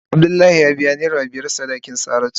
Abdullahi ya biya naira murtala biyar sadakin Saratu.